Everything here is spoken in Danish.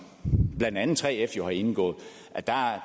blandt andet 3f jo har indgået